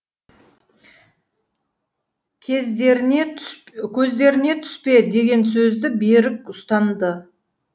көздеріне түспе деген сөзді берік ұстанды